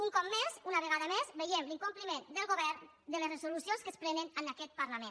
un cop més una vegada més veiem l’incompliment del govern de les resolucions que es prenen en aquest parlament